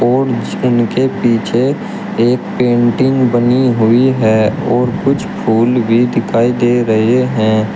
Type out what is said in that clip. और जिनके पीछे एक पेंटिंग बनी हुई है और कुछ फूल भी दिखाई दे रहे हैं।